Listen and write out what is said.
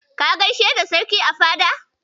Ka gaishe da Sarki a fadar.